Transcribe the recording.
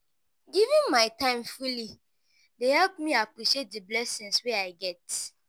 giving my time freely dey help me appreciate the blessings wey i get.